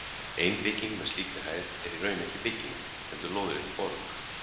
Ein bygging með slíkri hæð er í raun ekki bygging, heldur lóðrétt borg.